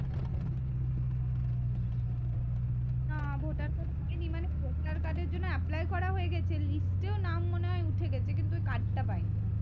না voter card হয়নি মানে ভোটার কার্ডের জন্য করা হয়ে গেছে লিস্টে ও নাম মনে হয় উঠে গেছে কিন্তু কার্ডটা পাইনি